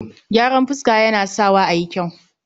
gyaran fuska Yana Sawa a yi kyau